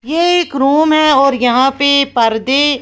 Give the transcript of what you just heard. ये एक रूम है और यहां पे पर्दे--